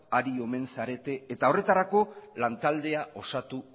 ari omen zarete eta horretarako lantaldea osatu